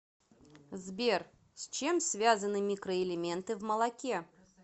сбер с чем связаны микроэлементы в молоке